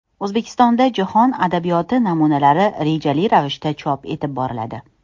O‘zbekistonda jahon adabiyoti namunalari rejali ravishda chop etib boriladi.